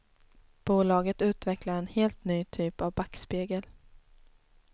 Bolaget utvecklar en helt ny typ av backspegel.